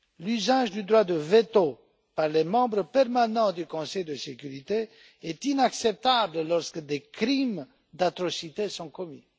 L'usage du droit de veto par les membres permanents du Conseil de sécurité est inacceptable lorsque des crimes d'atrocités sont commis.